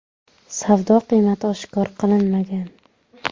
Savdo qiymati oshkor qilinmagan.